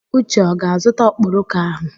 Uche ọ ga-azụta ọkpọrọko ahụ?